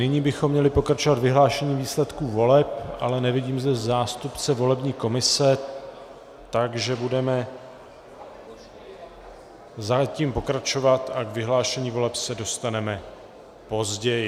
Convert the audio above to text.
Nyní bychom měli pokračovat vyhlášením výsledků voleb, ale nevidím zde zástupce volební komise, takže budeme zatím pokračovat a k vyhlášení voleb se dostaneme později.